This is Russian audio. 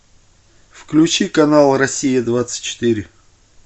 включи канал россия двадцать четыре